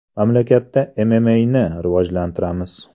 Mamlakatda MMA’ni rivojlantiramiz.